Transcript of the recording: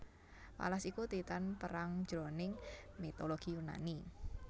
Pallas iku Titan perang jroning mitologi Yunani